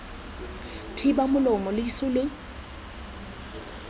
thiba molomo lo ise lo